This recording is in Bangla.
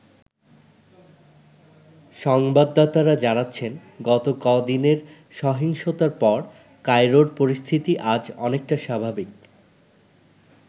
সংবাদাতারা জানাচ্ছেন গত কদিনের সহিংসতার পর কায়রোর পরিস্থিতি আজ অনেকটা স্বাভাবিক।